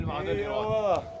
Eyvallah!